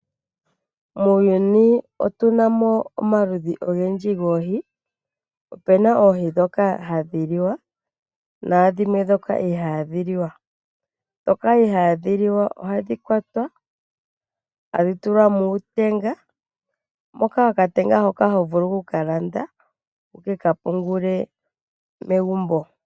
Muuyuni otunamo omaludhi ogendji goohi. Opena oohi ndhoka hadhi liwa naadhimwe ndhoka ihadhi liwa. Ndhoka ihadhi liwa ohadhi kwatwa e tadhi tulwa muutenga moka okatenga hoka hovulu oku kalanda wu kekapungule megumbo.